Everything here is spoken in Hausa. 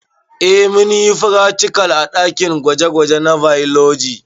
Eh munyi fratikal a ɗakin gwaje gwaje na bailoji